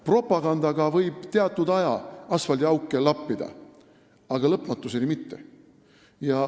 Propagandaga võib teatud aja asfaldiauke lappida, aga lõpmatuseni mitte.